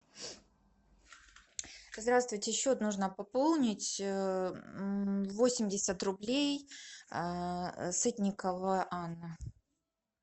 здравствуйте счет нужно пополнить восемьдесят рублей сытникова анна